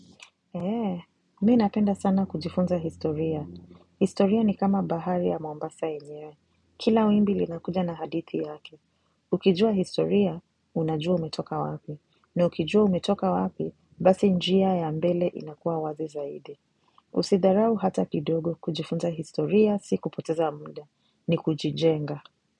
Eee, mii napenda sana kujifunza historia. Historia ni kama bahari ya mombasa yenyewe. Kila wimbi lina kuja na hadithi yake. Ukijua historia, unajua umetoka wapi. Ni ukijua umetoka wapi, basi njia ya mbele inakuwa wazi zaidi. Usidharau hata kidogo kujifunza historia, si kupoteza muda. Ni kujijenga.